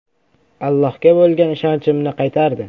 Allohga bo‘lgan ishonchimni qaytardi.